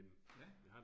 Ja